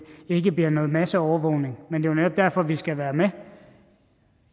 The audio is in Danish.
bliver noget masseovervågning men jo netop derfor vi skal være med